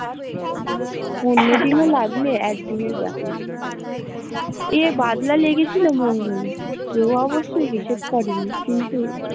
অন্য দিনে লাগলে এক দিনের ব্যাপার এ বাদলা লেগেছিল মনে হোল, কেউ অবশ্য হিসাব করে নি কিন্তু